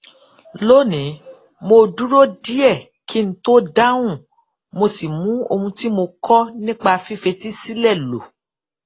lónìí mo dúró díè kí n tó dáhùn mo sì mu ohun tí mo kó nípa fífetí sílè lò